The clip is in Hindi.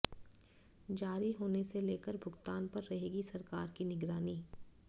जारी होने से लेकर भुगतान पर रहेगी सरकार की निगरानी